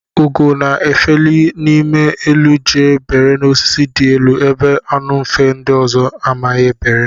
Ugo na efeli n'ime elu jee bere n'osisi di elu ebe anu mfe ndi ọzọ ama bere.